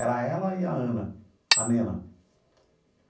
Era ela e a Ana, a Nena.